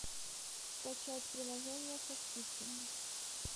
скачать приложения со скидками